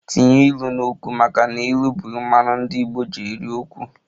Tinye ilu n'okwu! maka n'ilu bu mmanu ndi igbo ji eri okwu